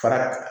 Fara